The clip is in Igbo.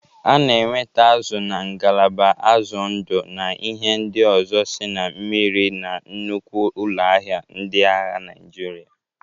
A na-enweta azụ na ngalaba azụ ndụ na ihe ndị ọzọ sị na mmịrị na nnukwu ụlọ ahịa ndịagha Naịjịrịa.